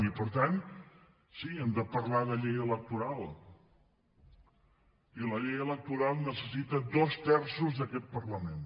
i per tant sí hem de parlar de llei electoral i la llei electoral necessita dos terços d’aquest parlament